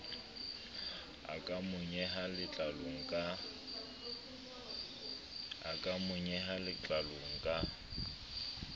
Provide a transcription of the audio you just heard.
a ka monyeha letlalong ka